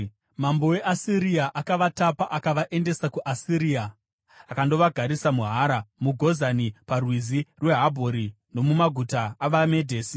Mambo weAsiria akavatapa akavaendesa kuAsiria akandovagarisa muHara, muGozani paRwizi rweHabhori nomumaguta avaMedhesi.